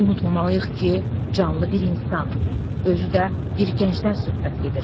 unutmamalıyıq ki, canlı bir insan, özü də bir gəncdən söhbət gedir.